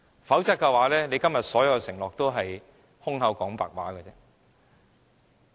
否則，政府今天所有的承諾也是空談。